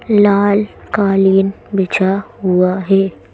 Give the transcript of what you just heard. लाल कालीन बिछा हुआ है।